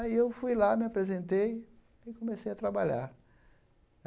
Aí eu fui lá, me apresentei e comecei a trabalhar.